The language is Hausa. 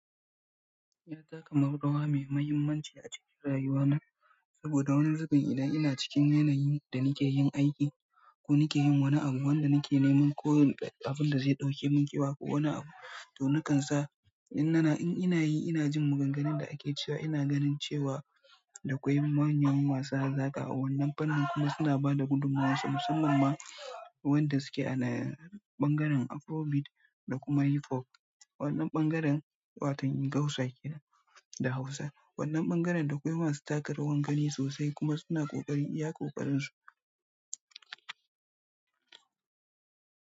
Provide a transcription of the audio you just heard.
Ya taka murrawa mai muhimmanci a cikin rayuwana, saboda wani zubin ina, ina cikin yanayin da nake yin aiki ko nake yin wani abu, wanda nake neman ko abun da zai ɗauke mun kewa ko wani abu to nakan sa. In nana in inayi inajin magan ganun da ake cewa ina ganin cewa da kwai mahimiyan wasa zaka a wannan fannin kuma suna bada gudunmawa so musamman ma. Wanda suke a na bangaren afro beat da kuma hip pop wannan ɓangaren waton ingausa kenan da hausa. Wannan ɓangaren da akwai masu taka rawar gani sosai kuma suna ƙoƙari iya ƙoƙarin su.